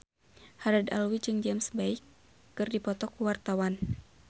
Haddad Alwi jeung James Bay keur dipoto ku wartawan